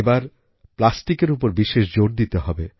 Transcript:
এই বার প্লাস্টিকের উপর বিশেষ জোর দিতে হবে